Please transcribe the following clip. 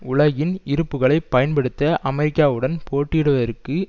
உலகின் இருப்புக்களை பயன்படுத்த அமெரிக்காவுடன் போட்டியிடுவதற்கு